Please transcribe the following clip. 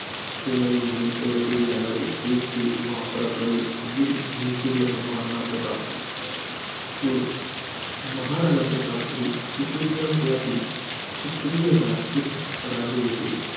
सेनानी म्हणून ओळखले जाणारे, हेच ते महापराक्रमी वीर हिंदुसुर्य महाराणा प्रताप. कुळ महाराणा प्रताप ही, सिसोदिया कुळातील, क्षत्रिय राजपूत राजे होते.